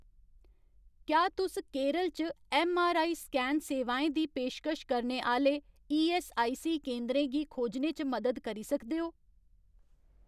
क्या तुस केरल च ऐम्मआरआई स्कैन सेवाएं दी पेशकश करने आह्‌ले ईऐस्सआईसी केंदरें गी खोजने च मदद करी सकदे ओ ?